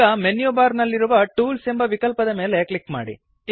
ಈಗ menu bar ನಲ್ಲಿರುವ tools ಎಂಬ ವಿಕಲ್ಪದ ಮೇಲೆ ಕ್ಲಿಕ್ ಮಾಡಿ